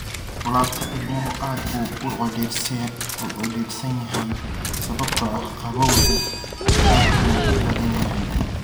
Laabta ilmuhu aad buu u cidhiidhsan yahay sababtoo ah qabowgu aad buu u badan yahay.